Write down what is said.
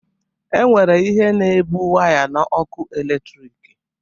E nwere ihe na-ebu waya na ọkụ eletrik.